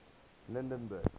lydenburg